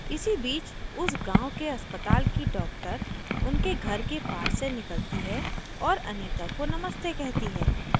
इसी बीच उस गांव के अस्पताल की doctor उनके घर के passes से निकलती है और anita को नमस्ते कहती है